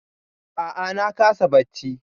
A'a na kasa bacci.